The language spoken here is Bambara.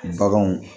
Baganw